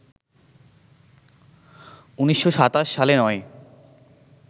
১৯২৭ সালে নয়